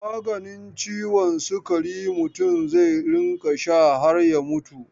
Maganin ciwon sikari mutum zai rinƙa sha har mutuwa.